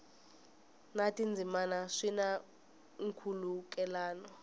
na tindzimana swi na nkhulukelano